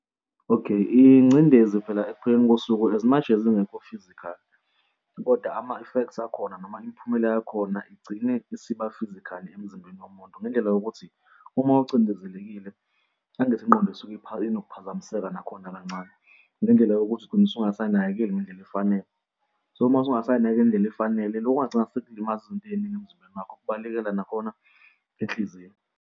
Okay. Ingcindezi phela ekupheleni kosuku as much as ingekho physically kodwa ama-effects akhona noma imiphumela yakhona igcine isiba-physically emzimbeni womuntu, ngendlela yokuthi uma ocindezelekile angithi ingqondo isuke isuke inokuphazamiseka nakhona kancane ngendlela yokuthi ugcina usungasay'nakekeli ngendlela efanele. So mase ungasay'nakekeli ngendlela efanele lokho kungagcina sekulimaza izinto ey'ningi emzimbeni wakho kubaleka nakhona inhliziyo.